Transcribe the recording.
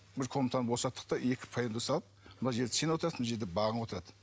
бір комнатаны босаттық та екі салып мына жерде сен отырасың мына жерде бағың отырады